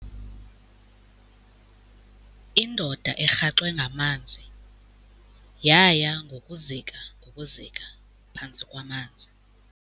Indoda erhaxwe ngamanzi yaya ngokuzika ngokuzika phantsi kwamaza.